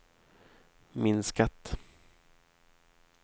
minskat